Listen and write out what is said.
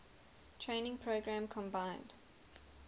training program combined